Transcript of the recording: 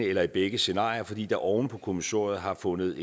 eller i begge scenarier fordi der oven på kommissoriet har fundet